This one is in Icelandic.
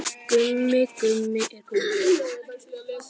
Sérðu hvernig manneskjan lítur út?